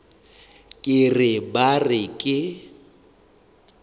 ke re ba re ke